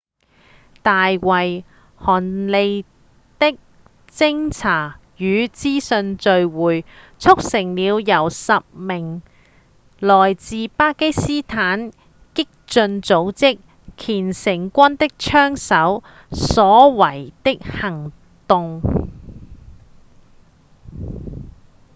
大衛·韓德利的偵查與資訊聚會促成了由10名來自巴基斯坦激進組織虔誠軍的槍手所為的行動